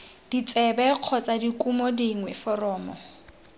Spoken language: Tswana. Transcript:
ditsebe kgotsa dikumo dingwe foromo